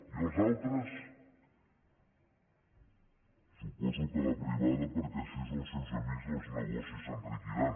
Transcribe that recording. i els altres suposo que a la privada perquè així els seus amics els negocis enriquiran